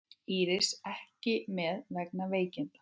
Íris ekki með vegna veikinda